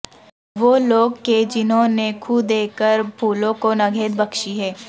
وہ لوگ کہ جنہوں نے خوں دے کر پھولوں کو نگہت بخشی ہے